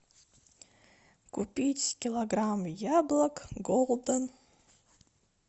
купить килограмм яблок голден